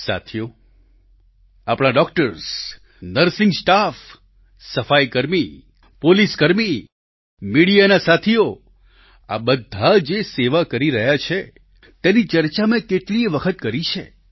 સાથીઓ આપણા doctors nursing staff સફાઈકર્મી પોલીસકર્મી મીડિયાના સાથીઓ આ બધા જે સેવા કરી રહ્યા છે તેની ચર્ચા મેં કેટલીયે વખત કરી છે